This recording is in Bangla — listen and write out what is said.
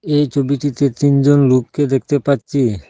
এই ছবিটিতে তিনজন লোককে দেখতে পাচ্ছি।